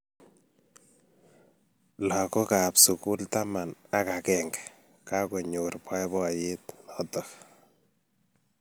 Lagookab sugul taman ak agenge kokanyor boiboiyet notok